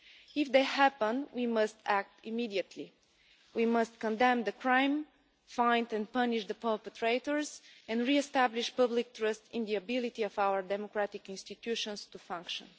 If they happen, we must act immediately we must condemn the crime, find and punish the perpetrators and re establish public trust in the ability of our democratic institutions to function.